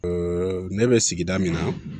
ne bɛ sigida min na